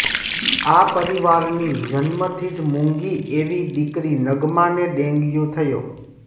આ પરિવારની જન્મથી જ મુંગી એવી દિકરી નગ્માને ડેંગ્યુ થયો